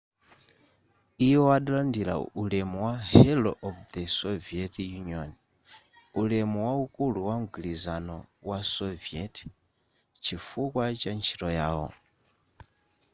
iwo adalandira ulemu wa hero of the soviet union' ulemu waukulu wa mgwirizano wa soviet chifukwa cha ntchito yawo